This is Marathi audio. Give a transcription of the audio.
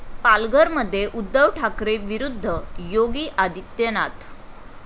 पालघरमध्ये उद्धव ठाकरे विरुद्ध योगी आदित्यनाथ